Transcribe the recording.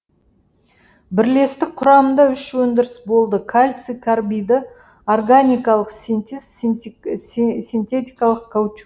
бірлестік құрамыңда үш өңдіріс болды кальций карбиді органикалық синтез синтетикалық каучу